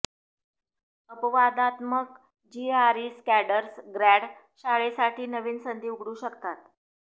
अपवादात्मक जीआरई स्कॅडर्स ग्रॅड शाळेसाठी नवीन संधी उघडू शकतात